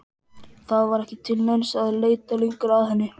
Það var ekki til neins að leita lengur að henni.